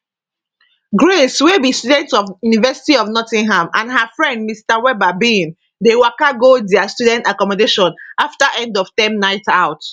grace wey be student of university of nottingham and her friend mr webber bin dey waka go dia student accommodation afta endofterm nightout